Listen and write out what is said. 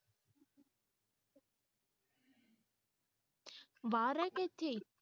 ਬਾਹਰ ਐ ਕਿ ਇਥੇ